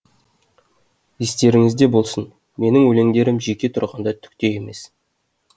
естеріңізде болсын менің өлеңдерім жеке тұрғанда түк те емес